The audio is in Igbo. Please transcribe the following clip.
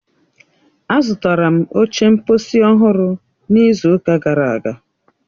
Azụtara m oche mkposi ọhụrụ n'izu ụka gara aga